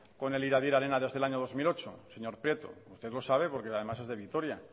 con el iradier arena desde el año dos mil ocho señor prieto usted lo sabe porque además es de vitoria